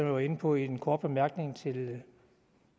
var inde på i en kort bemærkning til